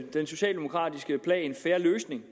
den socialdemokratiske plan en fair løsning